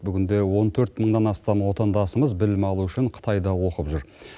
бүгінде он төрт мыңнан астам отандасымыз білім алу үшін қытайда оқып жүр